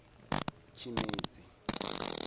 tshimedzi